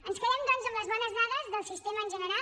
ens quedem doncs amb les bones dades del sistema en general